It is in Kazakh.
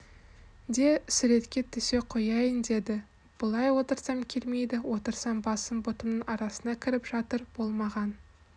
де суретке түсе қояйын деді былай отырсам келмейді отырсам басым бұтымның арасына кіріп жатыр болмаған